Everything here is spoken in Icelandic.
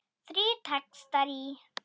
Þrír textar í